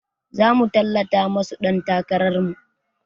Zamu tallata masu ɗan takarar mu